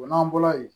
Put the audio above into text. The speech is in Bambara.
O n'an bɔra yen